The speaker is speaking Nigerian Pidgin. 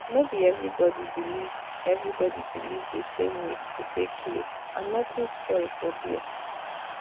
no be everybody believe everybody believe the same way to take heal and nothing spoil for there.